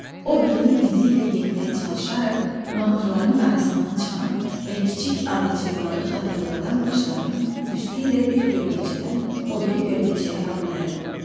O Bilin izi ilə getməyə çalışaraq mamırların arasından çıxan və kiçik adacıqları xatırladan daşların üstü ilə bir gölməçədən o biri gölməçəyə adlayırdı.